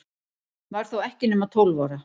Var þó ekki nema tólf ára.